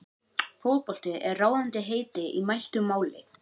Fótbolti er ráðandi heiti í mæltu máli.